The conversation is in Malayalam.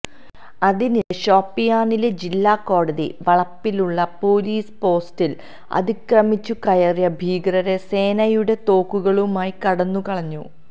അതിനിടെ ഷോപ്പിയാനിലെ ജില്ലാ കോടതി വളപ്പിലുള്ള പൊലീസ് പോസ്റ്റില് അതിക്രമിച്ചു കയറിയ ഭീകരര് സേനയുടെ തോക്കുകളുമായി കടന്നുകളഞ്ഞു